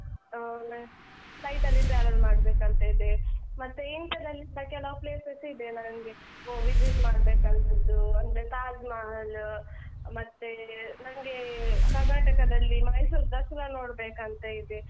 ಆಮೇಲೆ flight ಅಲ್ಲಿ travel ಮಾಡ್ಬೇಕಂತ ಇದೆ, ಮತ್ತೆ India ದಲ್ಲಿಸ ಕೆಲವು places ಇದೆ ನನ್ಗೆ visit ಮಾಡ್ಬೇಕಂತದ್ದು ಅಂದ್ರೆ ತಾಜ್‌ ಮಹಲ್‌ ಮತ್ತೆ ನನ್ಗೆ ಕರ್ನಾಟಕದಲ್ಲಿ ಮೈಸೂರು ದಸ್ರ ನೋಡ್ಬೇಕಂತ ಇದೆ.